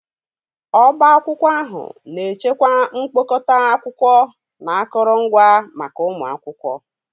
Ọbá akwụkwọ ahụ na-echekwa mkpokọta akwụkwọ na akụrụngwa maka ụmụ akwụkwọ